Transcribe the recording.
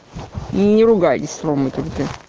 не ругайся матом